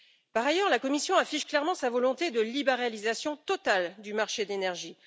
Par ailleurs, la Commission affiche clairement sa volonté de libéralisation totale du marché de l'énergie.